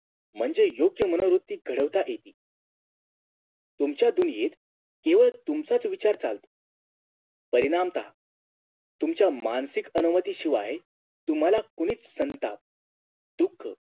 म्हणजे योग्य मनोवृत्ती घडवता येते तुमच्या दुनीयेत केवळ तुमचाच विचार चालतो परिणामतः तुमच्या मानसिक अनुमतीशिवाय तुम्हाला कुणीच संताप दुःख